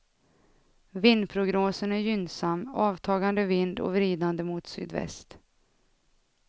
Vindprognosen är gynnsam, avtagande vind och vridande mot sydväst.